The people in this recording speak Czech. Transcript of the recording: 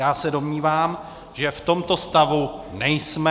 Já se domnívám, že v tomto stavu nejsme.